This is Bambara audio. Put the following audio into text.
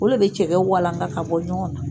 O le bɛ cɛkɛ walanka ka bɔ ɲɔgɔn na.